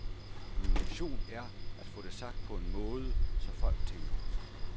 Min mission er at få det sagt på en måde, så folk tænker.